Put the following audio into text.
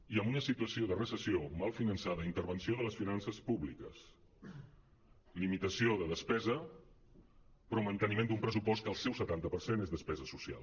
i en una situació de recessió mal fi·nançada intervenció de les finances públiques limitació de despesa però manteni·ment d’un pressupost que el seu setanta per cent és despesa social